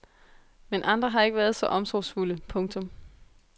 Men andre har ikke været så omsorgsfulde. punktum